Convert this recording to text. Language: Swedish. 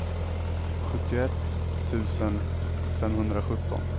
sjuttioett tusen femhundrasjutton